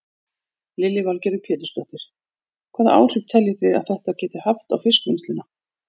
Lillý Valgerður Pétursdóttir: Hvaða áhrif telji þið að þetta geti haft á fiskvinnsluna?